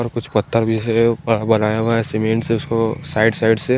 और कुछ पत्ता जैसे है बड़ा बनाया हुआ है सीमेंट से उसको साइड साइड से--